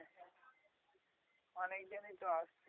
অনেক জনই তো আসছে